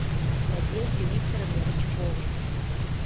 надежде викторовне рычковой